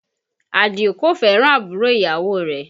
Àdìó kò fẹ́ràn àbúrò ìyàwó rẹ̀